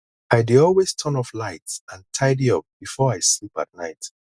i dey always turn off lights and tidy up before i sleep at night